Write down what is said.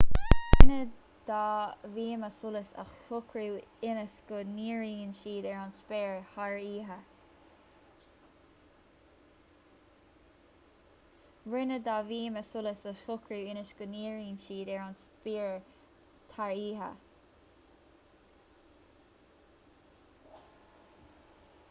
rinneadh dhá bhíoma solais a shocrú ionas go ndíríonn siad ar an spéir thar oíche